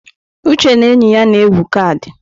Uche na enyi ya na-egwu kaadị.